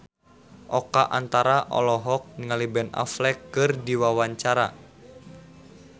Oka Antara olohok ningali Ben Affleck keur diwawancara